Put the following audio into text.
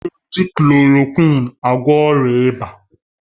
A na-eji klòròkwịn agwọ ọrịa ịba.